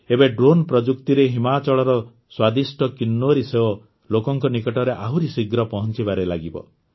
ଏବେ ଡ୍ରୋନ୍ ପ୍ରଯୁକ୍ତିରେ ହିମାଚଳର ସ୍ୱାଦିଷ୍ଟ କିନ୍ନୌରୀ ସେଓ ଲୋକଙ୍କ ନିକଟରେ ଆହୁରି ଶୀଘ୍ର ପହଂଚିବାରେ ଲାଗିବ